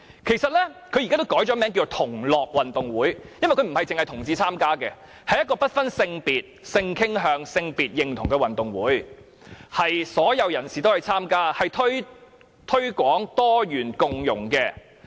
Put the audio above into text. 其實世界同志運動會也改名為同樂運動會，因為該運動會不單是同志參加，而是不分性別、性傾向、性別認同的運動會，所有人士均可參加，推廣多元共融。